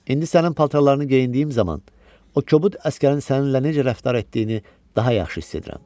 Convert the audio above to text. İndi sənin paltarlarını geyindiyim zaman o kobud əsgərin səninlə necə rəftar etdiyini daha yaxşı hiss edirəm.